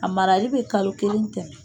A marali bɛ kalo kelen tɛmɛ.